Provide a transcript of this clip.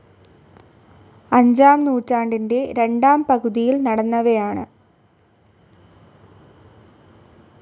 അഞ്ചാം നൂറ്റാണ്ടിന്റെ രണ്ടാം പകുതിയിൽ നടന്നവയാണ്.